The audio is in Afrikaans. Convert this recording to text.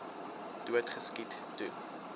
dood geskiet toe